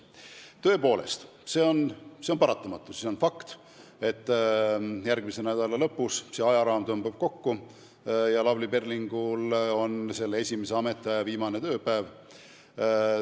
Tõepoolest, see on paratamatu, see on fakt, et järgmise nädala lõpus ajaraam tõmbub kokku ja Lavly Perlingul on esimese ametiaja viimane tööpäev.